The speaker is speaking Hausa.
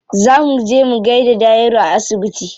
Za mu je mu gaida Dahiru a asibiti.